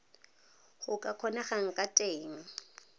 go ka kgonegang ka teng